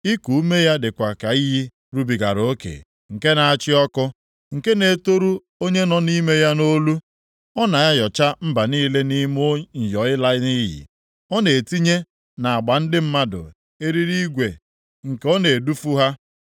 Iku ume ya dịkwa ka iyi rubigara oke, nke na-achị ọkụ, nke na-etoru onye nọ nʼime ya nʼolu. Ọ na-ayọcha mba niile nʼime nyọ ịla nʼiyi, ọ na-etinye nʼagba ndị mmadụ eriri igwe nke na-edufu ha.